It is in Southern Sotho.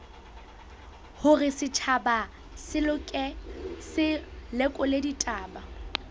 hore setjhaba se lekole ditaba